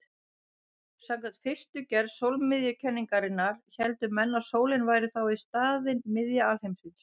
Samkvæmt fyrstu gerð sólmiðjukenningarinnar héldu menn að sólin væri þá í staðinn miðja alheimsins.